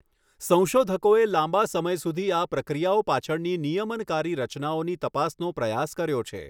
સંશોધકોએ લાંબા સમય સુધી આ પ્રક્રિયાઓ પાછળની નિયમનકારી રચનાઓની તપાસનો પ્રયાસ કર્યો છે.